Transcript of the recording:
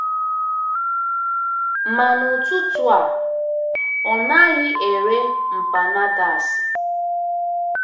Ma n'ụtụtụ a ọ naghị ere empanadas.